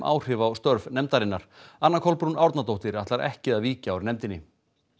áhrif á störf nefndarinnar anna Kolbrún Árnadóttir ætlar ekki að víkja úr nefndinni